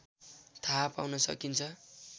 थाहा पाउन सकिन्छ